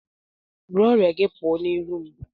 Bụrụ ọrịa gị pụọ n'iru m!